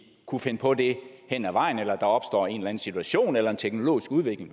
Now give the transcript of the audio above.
kunne finde på det hen ad vejen hvis der opstår en situation en teknologisk udvikling